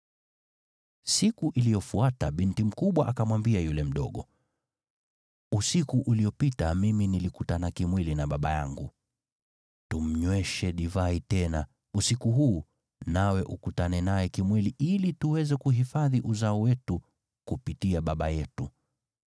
Siku iliyofuata binti mkubwa akamwambia yule mdogo, “Usiku uliopita mimi nilikutana kimwili na baba yangu. Tumnyweshe divai tena, usiku huu nawe ukutane naye kimwili ili tuweze kuhifadhi uzao wetu kupitia baba yetu.”